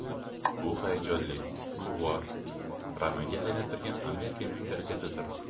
Bu hayajonli, ulug‘vor, romanga aylantirilgan Amerika mentalitetidir.